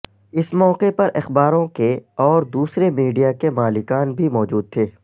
اس موقع پر اخباروں کے اور دوسرے میڈیا کے مالکان بھی موجود تھے